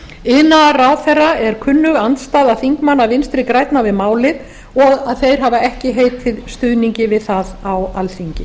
iðnaðarráðherra er kunnug andstaða þingmanna vinstri grænna við málið og að þeir hafi ekki heitið stuðningi við það á alþingi